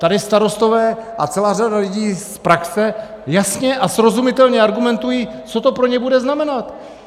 Tady starostové a celá řada lidí z praxe jasně a srozumitelně argumentují, co to pro ně bude znamenat.